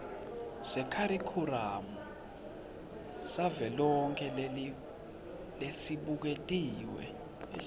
sekharikhulamu savelonkhe lesibuketiwe